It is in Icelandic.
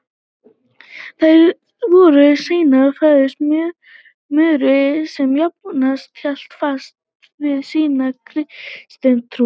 Þær voru seinna færðar Möru sem jafnan hélt fast við sína kristnu trú.